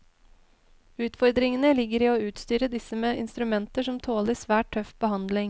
Utfordringene ligger i å utstyre disse med instrumenter som tåler svært tøff behandling.